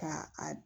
Ka a